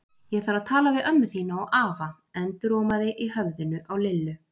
Ég þarf að tala við ömmu þína og afa endurómaði í höfðinu á Lillu.